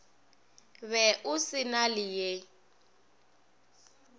be o se na leye